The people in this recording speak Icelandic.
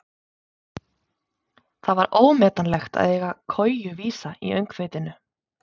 Það var ómetanlegt að eiga koju vísa í öngþveitinu.